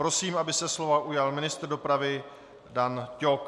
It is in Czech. Prosím, aby se slova ujal ministr dopravy Dan Ťok.